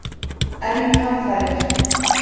enn um hamfarir